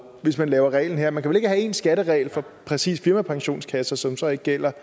hvis man laver reglen her man kan vel ikke have en skatteregel for præcis firmapensionskasser som så ikke gælder